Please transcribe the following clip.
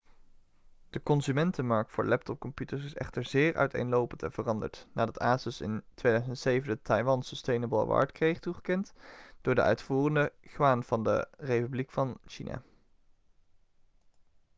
de consumentenmarkt voor laptopcomputers is echter zeer uiteenlopend en veranderd nadat asus in 2007 de taiwan sustainable award kreeg toegekend door de uitvoerende yuan van de republiek van china